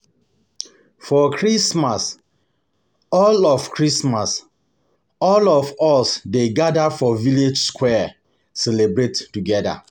For Christmas, all of Christmas, all of us dey gada for village square celebrate togeda.